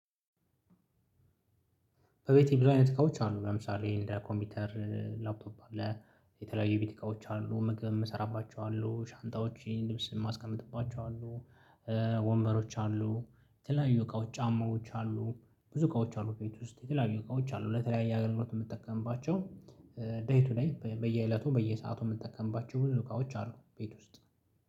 በቤቴ ብዙ አይነት እቃዎች አሉ ለምሳሌ ኮምፒውተር ላፕቶፕ አለ። የተለያዩ ቤት እቃዎች አሉ ምግብ እምሰራባቸው አሉ ሻንጣዎቼ ልብስ ማስቀምጥባቸው አሉ። ወንበሮች አሉ የተለያዩ እቃዎች ጫማዎች አሉ። ብዙ እቃዎች አሉ ቤት ውስጥ የተለያዩ እቃዎች አሉ ለተለያየ አገልግሎት የምትጠቀምባቸው። ደይ ቱ ደይ በየእለቱ በየሰአቱ የምትጠቀምባቸው ብዙ እቃዎች አሉ ቤት ውስጥ